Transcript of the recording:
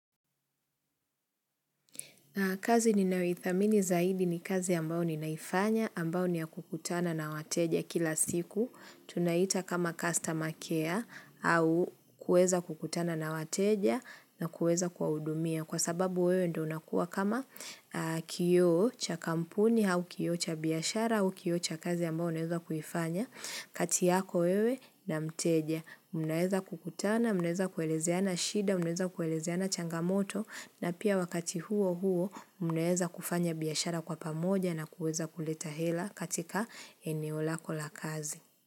Kazi ninayoithamini zaidi ni kazi ambao ninaifanya, ambao ni ya kukutana na wateja kila siku. Tunaita kama customer care au kuweza kukutana na wateja na kuweza kuwahudumia. Kwa sababu wewe ndo unakua kama kioo cha kampuni au kioo cha biashara au kioo cha kazi ambao unaweza kuifanya. Kati yako wewe na mteja. Mnaweza kukutana, mnaeza kuelezeana shida, mnaeza kuelezeana changamoto. Na pia wakati huo huo mnaweza kufanya biashara kwa pamoja na kuweza kuleta hela katika eneo lako la kazi.